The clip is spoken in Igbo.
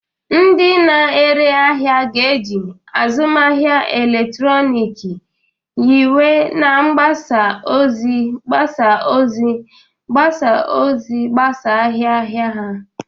Ndị na-ere ahịa ga-eji azụmahịa eletrọnịkị nyiwe na mgbasa ozi mgbasa ozi mgbasa ozi gbasaa ahịa ahịa ha.